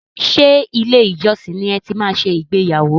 Ṣe ilé ìjọsìn ní e máa tí ṣe ìgbéyàwó?